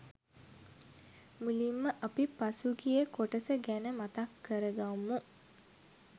මුලින්ම අපි පසුගිය කොටස ගැන මතක් කරගම්මු.